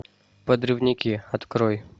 подрывники открой